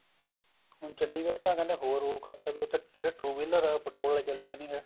ਹੁਣ ਚੰਡੀਗੜ੍ਹ ਤਾਂ ਕਹਿੰਦੇ ਹੋਰ rule ਕਰਤਾ ਵੀ ਉੱਥੇ ਜਿਹੜੇ two wheeler ਹੈ petrol ਹੈ ਉਹ ਚੱਲਣੇ ਨੀ ਹੈ